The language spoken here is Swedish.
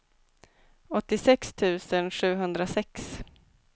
åttiosex tusen sjuhundrasex